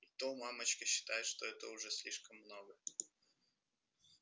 и то мамочка считает что это уже слишком много